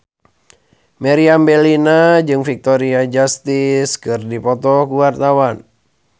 Meriam Bellina jeung Victoria Justice keur dipoto ku wartawan